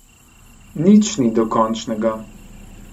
Nič ni dokončnega.